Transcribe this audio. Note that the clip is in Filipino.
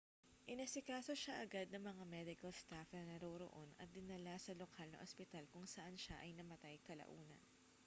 inasikaso siya agad ng mga medical staff na naroroon at dinala sa lokal na ospital kung saan siya namatay kalaunan